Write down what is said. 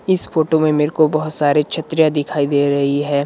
इस फोटो में मेरे को बहुत सारे छत्रियां दिखाई दे रही है।